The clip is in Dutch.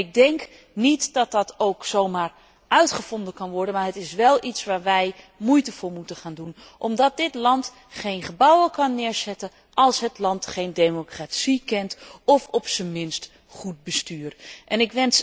Ik denk niet dat dat ook zo maar uitgevonden kan worden, maar het is wel iets waar wij moeite voor moeten gaan doen omdat dit land geen gebouwen kan neerzetten, als het land geen democratie of op z'n minst goed bestuur kent.